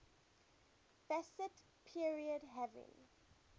fascist period having